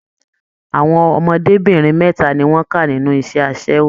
Àwọn ọmọdébinrin mẹta ni wọn ká nínú iṣẹ asẹwo.